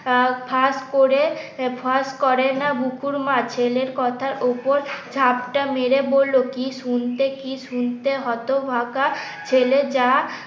ফাঁস করে ফাঁস করে না বুকুর মা। ছেলের কথার উপর ঝাপটা মেরে বলল কি শুনতে কি শুনতে হতভাগা ছেলে যা